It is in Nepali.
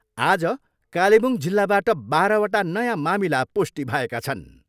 आज कालेबुङ जिल्लाबाट बाह्रवटा नयाँ मामिला पुष्टि भएका छन्।